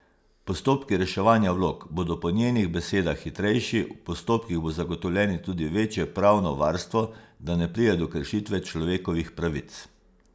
Postopki reševanja vlog bodo po njenih besedah hitrejši, v postopkih bo zagotovljeno tudi večje pravno varstvo, da ne pride do kršitve človekovih pravic.